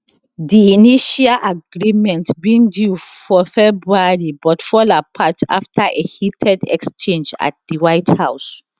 di initial agreement bin due for february but fall apart after a heated exchange at di white house